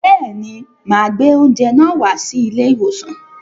Bẹẹ̀ ni, mà gbé oúnjẹ náà wá sí ilé-ìwòsàn.